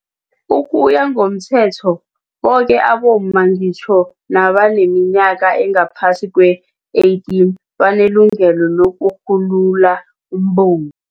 Ukuya ngomThetho, boke abomma, ngitjho nabaneminyaka engaphasi keli-18, banelungelo lokurhulula umbungu.